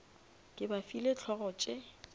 ke ba file hlogo tše